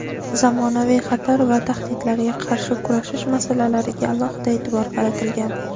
zamonaviy xatar va tahdidlarga qarshi kurashish masalalariga alohida e’tibor qaratilgan.